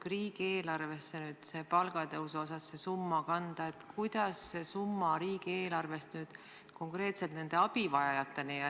Kui see palgatõusu summa riigieelarvesse kanda, kuidas see summa riigieelarvest konkreetsete abivajajateni jõuab?